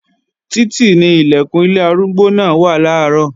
Títì ni Ilẹ̀kùn ilé arúgbó náà wà làárọ̀